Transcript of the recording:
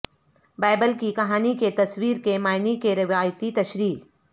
Bible کی کہانی کی تصویر کے معنی کے روایتی تشریح